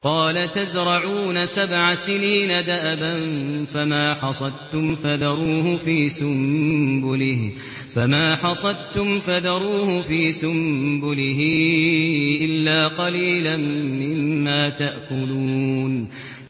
قَالَ تَزْرَعُونَ سَبْعَ سِنِينَ دَأَبًا فَمَا حَصَدتُّمْ فَذَرُوهُ فِي سُنبُلِهِ إِلَّا قَلِيلًا مِّمَّا تَأْكُلُونَ